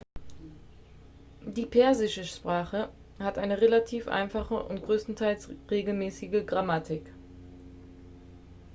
die persische sprache hat eine relativ einfache und größtenteils regelmäßige grammatik